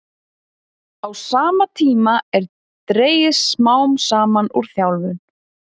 Á sama tíma er dregið smám saman úr þjálfun.